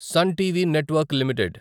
sun TV network limited